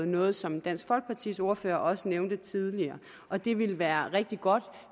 noget som dansk folkepartis ordfører også nævnte tidligere og det ville være rigtig godt